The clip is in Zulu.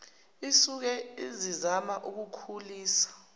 isuke isizama ukukhulisa